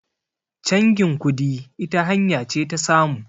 changin kudi ita hanya ce ta samu